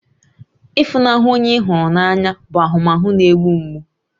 Ịfunahụ onye ị hụrụ n'anya bụ ahụmahụ na-egbu mgbu